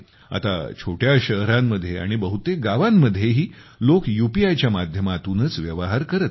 आता छोट्या शहरांमध्ये आणि बहुतेक गावांमध्येही लोक यूपीआय च्या माध्यमातूनच व्यवहार करत आहेत